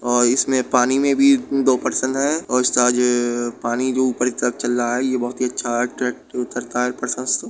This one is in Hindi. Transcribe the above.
और इसमें पानी में भी दो पर्सन है और उसका आज पानी जो ऊपर कि तरफ चल रहा है। यह बहुत ही अच्छा --